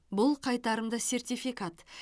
бұл қайтарымды сертификат